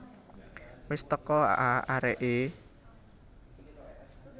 Wis teko a areke